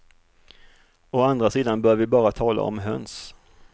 Å andra sidan bör vi bara tala om höns.